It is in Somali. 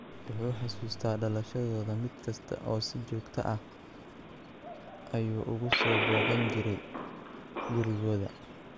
Wuxuu xusuustaa dhalashadooda mid kasta oo si joogto ah ayuu ugu soo booqan jiray gurigooda.